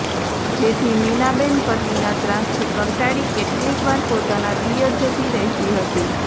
જેથી મીનાબેન પતિના ત્રાસથી કંટાળી કેટલીકવાર પોતાના પિયર જતી રહેતી હતી